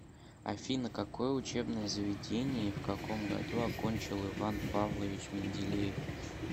афина какое учебное заведение и в каком году окончил иван павлович менделеев